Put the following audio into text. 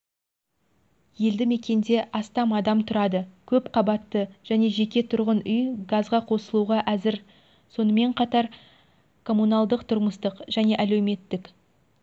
елді-мекенде астам адам тұрады көп қабатты және жеке тұрғын үй газға қосылуға әзір сонымен қатар коммуналдық-тұрмыстық және әлеуметтік